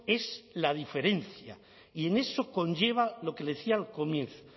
es la diferencia y en eso conlleva lo que le decía al comienzo